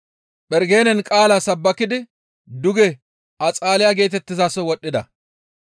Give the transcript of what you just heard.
Phergenen qaala sabbakidi duge Axaaliya geetettizaso wodhdhida.